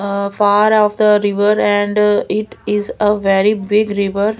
ah far of the river and it is a very big river.